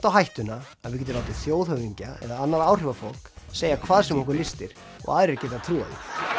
á hættuna að við getum látið þjóðhöfðingja eða annað áhrifafólk segja hvað sem okkur lystir og aðrir geta trúað